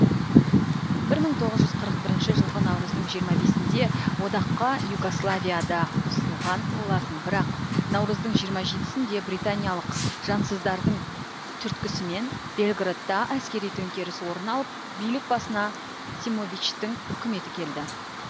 мың тоғыз жүз қырық бірінші жылғы наурыздың жиырма бесінде одаққа югославия да қосылған болатын бірақ наурыздың жиырма жетісінде британиялық жансыздардың түрткісімен белградта әскери төңкеріс орын алып билік басына симовичтің үкіметі келді